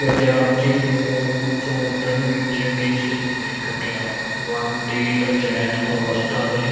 ਵਿਦਿਆਰਥੀ ਨੂੰ ਉਸ ਉਲਝਣ ਵਿੱਚ ਕਿਸ ਨੇ ਕੱਢਿਆ। ਮਨ ਦੀ ਅਚੇਤ ਅਵਸਥਾ ਨੇ